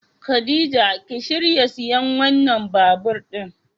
Khadija ki shirya siyan wannan babur din.